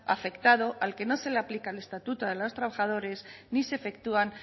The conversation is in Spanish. afectado al que no se le aplica el estatuto de los trabajadores ni se efectúan